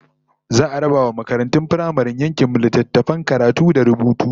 Za'a raba wa makaratun firamaren yankin mu littattafan karatu da rubutu